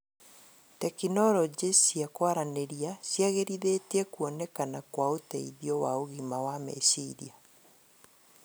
Tekinoronjĩ cia kũaranĩria ciagĩrithĩtie kuonekana kwa ũteithio wa ũgima wa meciria